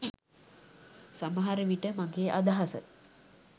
සමහර විට මගෙ අදහස